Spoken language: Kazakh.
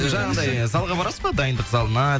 жаңағындай залға барасыз ба дайындық залына